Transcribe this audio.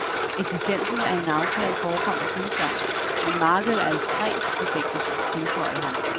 Eksistensen af en aftale forekommer tvivlsom, men markedet er ekstremt forsigtigt, tilføjede han.